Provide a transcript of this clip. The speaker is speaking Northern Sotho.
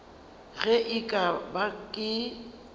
ge e ka ba ke